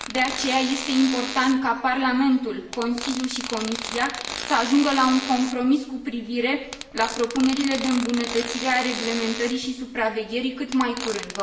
De aceea, este important ca Parlamentul, Consiliul și Comisia să ajungă la un compromis cu privire la propunerile de îmbunătățire a reglementării și supravegherii cât mai curând.